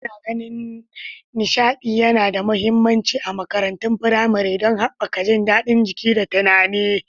Ana ganin nishaɗi yana da mahimmanci a makarantun firamare don haɓaka jin daɗin jiki da tunani.